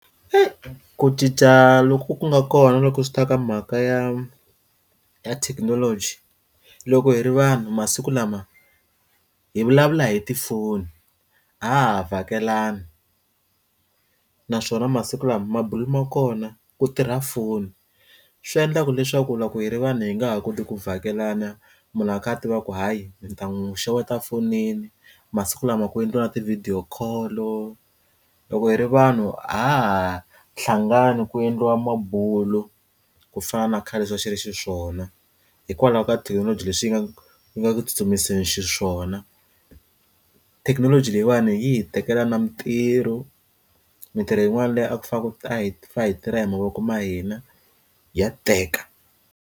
ku cinca loku ku nga kona loko swi ta ka mhaka ya ya thekinoloji loko hi ri vanhu masiku lama hi vulavula hi tifoni a ha ha vakelani naswona masiku lama mabulomu ma kona ku tirha foni swi endlaka leswaku loko hi ri vanhu hi nga ha koti ku vakelana munhu a kha a tiva ku hayi ntamu xeweta fonini masiku lama ku endliwa na ti video call-lo loko hi ri vanhu a ha ha hlangani ku endliwa mabulo ku fana na khale xi va xi ri xiswona hikwalaho ka thekinoloji leswi yi nga yi nga tsutsumiseni xiswona wona thekinoloji leyiwani yi hi tekela na mitirho mitirho yin'wana leyi a ku fanele hi yi tirha hi mavoko ma hina ya teka.